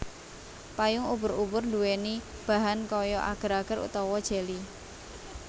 Payung ubur ubur nduweni bahan kaya ager ager utawa jeli